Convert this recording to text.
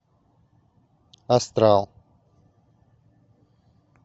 астрал